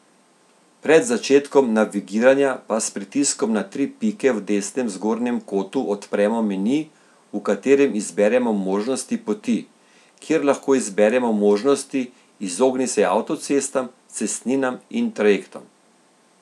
Pred začetkom navigiranja pa s pritiskom na tri pike v desnem zgornjem kotu odpremo meni, v katerem izberemo Možnosti poti, kjer lahko izberemo možnosti Izogni se avtocestam, cestninam in trajektom.